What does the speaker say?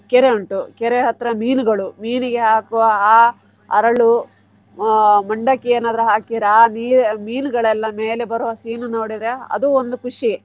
ಕೆರೆ ಉಂಟು ಕೆರೆ ಹತ್ರ ಮೀನುಗಳು ಮೀನಿಗೆ ಹಾಕುವ ಆ ಅರಳು ಆ ಮಂಡಕ್ಕಿ ಏನಾದ್ರು ಹಾಕಿರಾ ಆ ಮೀನುಗಳೆಲ್ಲ ಮೇಲೆ ಬರುವ scene ನೋಡಿದ್ರೆ ಅದು ಒಂದು ಖುಷಿ.